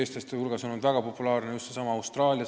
Eestlaste hulgas on väga populaarne just Austraalia.